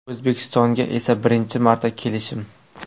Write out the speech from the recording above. O‘zbekistonga esa birinchi marta kelishim.